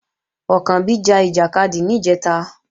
Ọ̀kànbí ja ìjàkadì níjẹ̀ta